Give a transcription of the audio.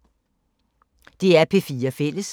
DR P4 Fælles